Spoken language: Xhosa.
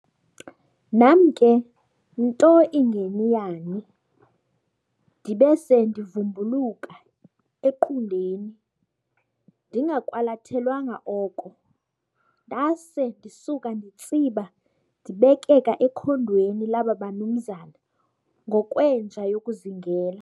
Nam ke nto ingeni yani, ndibe se ndivumbuluka equndeni ndingakwalathelwanga oko, ndaase ndisuka nditsiba ndibekeka ekhondweni laaba banumzana ngokwenja yokuzingela.